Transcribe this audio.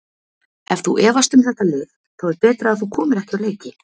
Ef þú efast um þetta lið þá er betra að þú komir ekki á leiki.